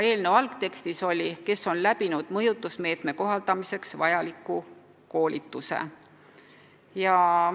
Eelnõu algtekstis oli isik, "kes on läbinud mõjutusmeetme kohaldamiseks vajaliku koolituse".